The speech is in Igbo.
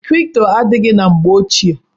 Kripto adịghị na mgbe ochie.